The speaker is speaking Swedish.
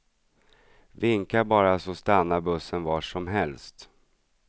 Vinka bara så stannar bussen var som helst.